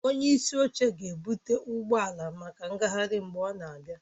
Onye isi oche ga-ebụte ụgbọ ala maka ngagharị mgbe ọ na-abịa